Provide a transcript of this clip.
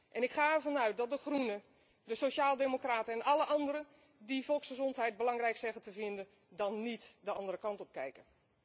En ik ga ervan uit dat de Groenen, de sociaaldemocraten en alle anderen die zeggen volksgezondheid belangrijk te vinden dan niet de andere kant op kijken.